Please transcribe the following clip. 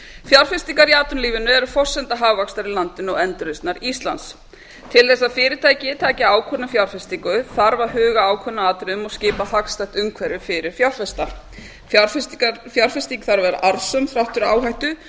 fjárfestingar í atvinnulífinu eru forsenda hagvaxtar í landinu og endurreisnar íslands til þess að fyrirtæki taki ákvörðun um fjárfestingu þarf að huga að ákveðnum atriðum og skapa hagstætt umhverfi fyrir fjárfesta fjárfestingin þarf að vera arðsöm þrátt fyrir